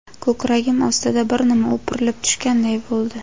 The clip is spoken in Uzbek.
Ko‘kragim ostida bir nima o‘pirilib tushganday bo‘ldi….